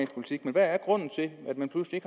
politik men hvad er grunden til at man pludselig